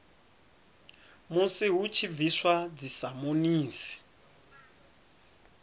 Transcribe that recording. musi hu tshi bviswa dzisamonisi